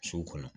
So kɔnɔ